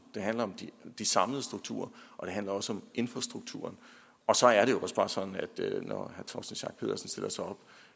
det handler om de samlede strukturer og det handler også om infrastrukturen så er det også bare sådan at når herre torsten schack pedersen stiller sig op